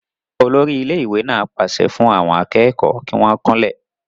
olórí ilé ìwé náà pàṣẹ fún àwọn akẹ́kọ̀ọ́ kí wọ́n kúnlẹ̀